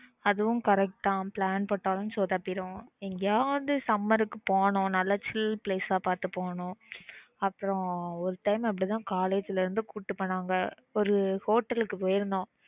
அதுவும் correct plan போட்டாலும் சொதப்பிடும் எங்கயாவது summer க்கு போகணும் நல்ல சில்லுனு place ஆஹ் பாத்து போனோம் அப்புறம் ஒரு time அப்பிடித்தான் college ல இருந்து கூட்டிட்டு போனாங்க ஒரு hotel க்கு போயிருந்தோம்